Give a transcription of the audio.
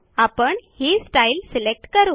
आपण ही style select करू